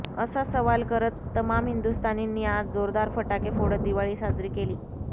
असा सवाल करत तमाम हिंदुस्थानींनी आज जोरदार फटाके फोडत दिवाळी साजरी केली